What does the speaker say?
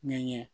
Min ye